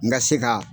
N ka se ka